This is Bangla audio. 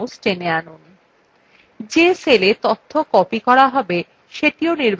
যে cells তথ্য copy করা হবে সেটিও নির্বাচিন করুন